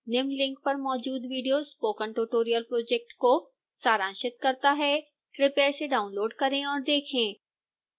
निम्न लिंक पर मौजूद विडियो स्पोकन ट्यूटोरियल प्रोजेक्ट को सारांशित करता है कृपया इसे डाउनलोड करें और देखें